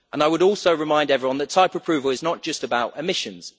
it. I would also remind everyone that type approval is not just about emissions.